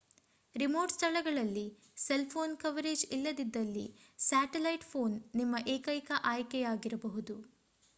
remote ಸ್ಥಳಗಳಲ್ಲಿ cell phone coverage ಇಲ್ಲದಿದ್ದಲ್ಲಿ satellite phone ನಿಮ್ಮ ಏಕೈಕ ಆಯ್ಕೆಯಾಗಿರಬಹುದು